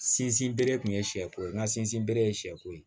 Sinsin bere kun ye sɛ ko ye n ka sinsinbere ye sɛko ye